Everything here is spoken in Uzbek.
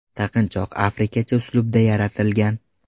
Taqinchoq afrikacha uslubda yaratilgan.